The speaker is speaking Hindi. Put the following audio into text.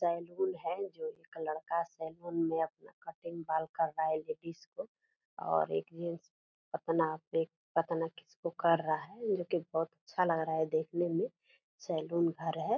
सैलून है जो एक लड़का सैलून मे कटिंग अपना बाल कर रहा है लेडिज को और एक जेन्ट्स किसी को कर रहा है जो कि बहुत अच्छा लग रहा है देखने मे सैलून घर है।